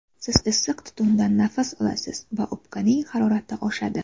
Siz issiq tutundan nafas olasiz va o‘pkaning harorati oshadi.